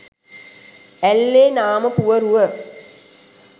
ඇල්ලේ නාමපුවරුව